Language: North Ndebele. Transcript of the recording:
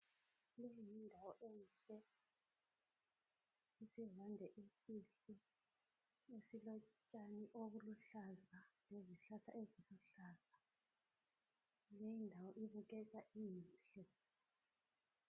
Leyi yindawo enhle isivande esihle esilotshani obuluhlaza lezihlahla eziluhlaza, leyi indawo ibukeka inhle.